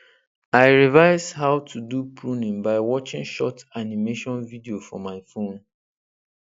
i revise how to do pruning by watching short animation video for my phone